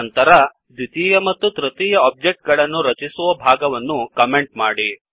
ನಂತರ ದ್ವಿತೀಯ ಮತ್ತು ತೃತೀಯ ಒಬ್ಜೆಕ್ಟ್ ಗಳನ್ನು ರಚಿಸುವ ಭಾಗವನ್ನು ಕಮೆಂಟ್ ಮಾಡಿ